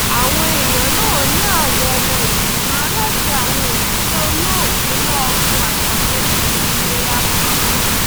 àwọn èèyàn náà ní àwọn ọmọ ìgbìmọ aláṣẹ àwọn òṣìṣẹ olóògbé lọgùn àtàwọn elétò ìlera kan